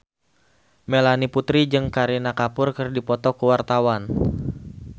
Melanie Putri jeung Kareena Kapoor keur dipoto ku wartawan